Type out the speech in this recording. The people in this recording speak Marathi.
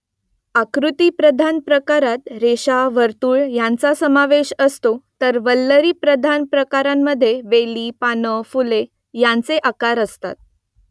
आकृतीप्रधान प्रकारात रेषा , वर्तुळ यांचा समावेश असतो तर वल्लरीप्रधान प्रकारामध्ये वेली , पाने , फुले यांचे आकार असतात